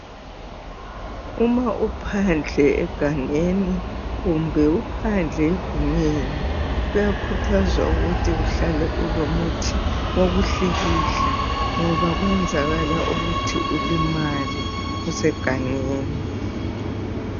Uma uphandle egangeni kumbe uphandle egumeni. Kuyakhuthazwa ukuthi uhlale ulomuthi wokuhlikihla ngoba kwenzakala ukuthi ulimale usegangeni.